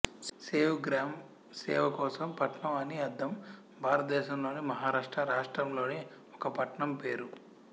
సేవగ్రామ్ సేవ కోసం పట్టణం అని అర్ధం భారతదేశంలోని మహారాష్ట్ర రాష్ట్రంలోని ఒక పట్టణం పేరు